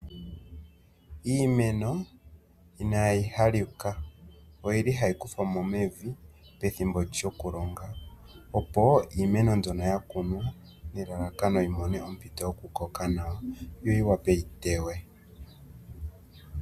Iimeno inaayi halika ohayi kuthwa mo mevi pethimbo lyokulonga, opo iimeno mbyono ya kunwa nelalakano yi mone ompito yokukoka nawa yo yi wape yi teywe.